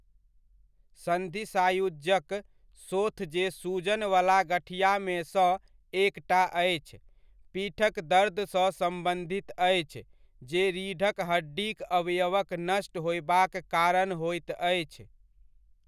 सन्धि सायुज्यक शोथ जे सूजनवला गठिआमेसँ एकटा अछि, पीठक दर्दसँ सम्बन्धित अछि जे रीढक हड्डीक अवयवक नष्ट होयबाक कारण होइत अछि।